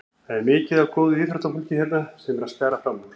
Það er mikið af góðu íþróttafólki hérna sem er að skara fram úr.